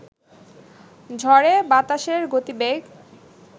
ঝড়ে বাতাসের গতিবেগ